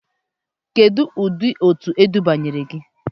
Kedu ụdị òtù adọbanyere gị?